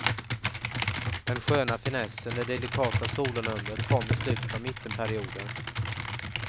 Den sköna finessen, det delikata solonumret kom i slutet av mittenperioden.